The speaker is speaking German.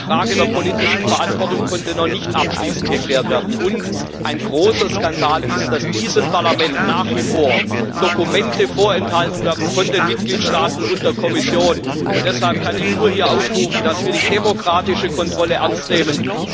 Die Frage der politischen Verantwortung konnte noch nicht abschließend geklärt werden, und ein großer Skandal ist, dass diesem Parlament nach wie vor Dokumente von den Mitgliedstaaten und der Kommission vorenthalten werden. Deshalb kann ich hier nur aufrufen, dass wir die demokratische Kontrolle ernst nehmen.